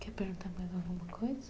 Quer perguntar mais alguma coisa?